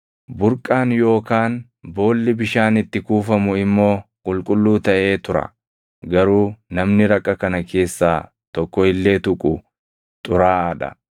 Burqaan yookaan boolli bishaan itti kuufamu immoo qulqulluu taʼee tura; garuu namni raqa kana keessaa tokko illee tuqu xuraaʼaa dha.